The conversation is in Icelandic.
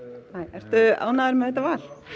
ertu ánægður með þetta val